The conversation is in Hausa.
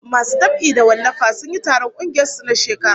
Masu dab'i da wallafa sun yi taron kungiyar su na shekara